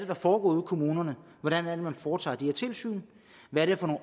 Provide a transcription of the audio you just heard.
der foregår ude i kommunerne hvordan man foretager de her tilsyn hvad det er for